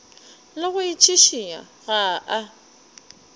le go itšhišinya ga a